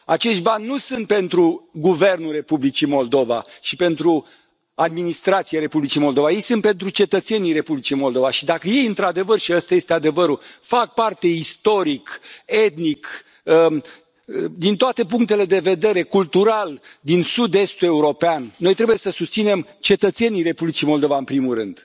Acești bani nu sunt pentru guvernul Republicii Moldova și pentru administrația Republicii Moldova. Ei sunt pentru cetățenii Republicii Moldova și, dacă ei, într adevăr și ăsta este adevărul fac parte istoric, etnic, din toate punctele de vedere, cultural, din sud estul european, noi trebuie să îi susținem pe cetățenii Republicii Moldova, în primul rând.